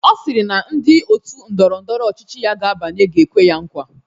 Ọ sịrị na ndị otu ndọrọ ndọrọ ọchịchị ya ga-abanye ga-ekwe ya nkwa.